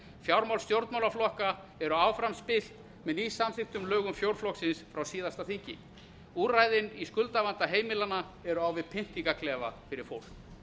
fjármál stjórnmálaflokka eru áfram spillt með nýsamþykktum lögum fjórflokksins frá síðasta þingi úrræðin í skuldavanda heimilanna eru á við pyndingarklefa fyrir fólk